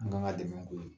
An kan ka dɛmɛ k'o ye